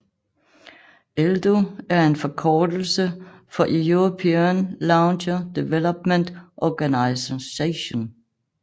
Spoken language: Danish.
ELDO er en forkortelse for European Launcher Development Organisation